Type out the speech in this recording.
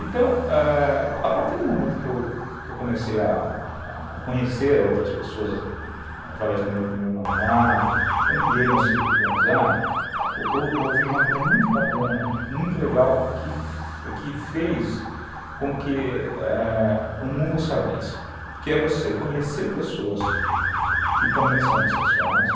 Então, ãh, a partir do momento que eu comecei a conhecer outras pessoas através do meu primeiro namorado, ampliei meu círculo de amizade, ouvi uma coisa muito bacana, muito legal, que fez com que o mundo se abrisse, que é você conhecer pessoas que também são homossexuais,